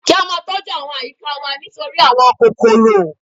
Kí á ma tọ́ jú àwọn àyíká wa nítorí àwọn kòròkò